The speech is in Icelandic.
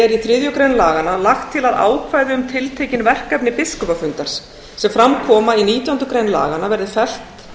er í þriðju grein laganna lagt til að ákvæði um tiltekin verkefni biskupafundar sem fram koma í nítjándu grein laganna verði fellt